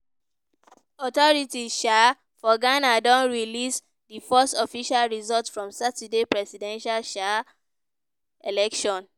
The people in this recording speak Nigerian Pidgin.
authorities um for ghana don release di first official results from saturday presidential um election.